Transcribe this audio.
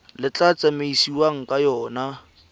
le tla tsamaisiwang ka yona